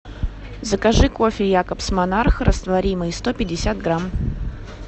закажи кофе якобс монарх растворимый сто пятьдесят грамм